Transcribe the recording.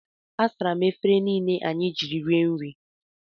Asara m efere niile anyị jiri rie nri.